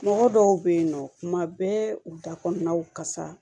Mɔgɔ dɔw bɛ yen nɔ kuma bɛɛ u da kɔnɔnaw ka sa